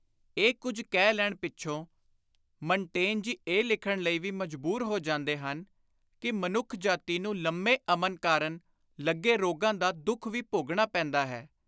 ” ਇਹ ਕੁਝ ਕਹਿ ਲੈਣ ਪਿੱਛੋਂ ਮਨਟੇਨ ਜੀ ਇਹ ਲਿਖਣ ਲਈ ਵੀ ਮਜਬੁਰ ਹੋ ਜਾਂਦੇ ਹਨ ਕਿ “ਮਨੁੱਖ ਜਾਤੀ ਨੂੰ ਲੰਮੇ ਅਮਨ ਕਾਰਨ ਲੱਗੇ ਰੋਗਾਂ ਦਾ ਦੁੱਖ ਵੀ ਭੋਗਣਾ ਪੈਂਦਾ ਹੈ।